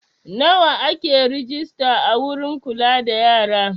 Nawa ake rejista a wurin kula da yara?